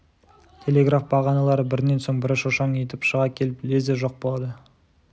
телеграф бағаналары бірінен соң бірі шошаң етіп шыға келіп лезде жоқ болады